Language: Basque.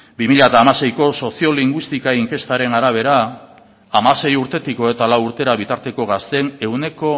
bi mila hamaseiko soziolinguistika inkestaren arabera hamasei urtetik hogeita lau urtera bitarteko gazteen ehuneko